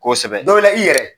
Kosɛbɛ dɔ la i yɛrɛ.